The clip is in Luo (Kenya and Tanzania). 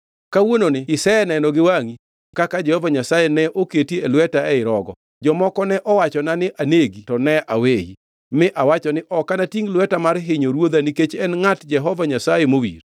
Kawuononi iseneno gi wangʼi kaka Jehova Nyasaye ne oketi e lweta ei rogo. Jomoko ne owachona ni anegi, to ne aweyi; mi awacho ni, ‘Ok natingʼ lweta mar hinyo ruodha nikech en ngʼat Jehova Nyasaye mowir.’